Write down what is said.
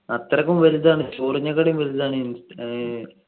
അത്രക്കും വലുതാണ് ചോറിനേക്കാട്ടും വലുതാണ് ഇ ഏർ